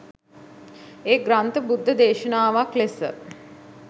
ඒ ග්‍රන්ථ බුද්ධ දේශනාවක් ලෙස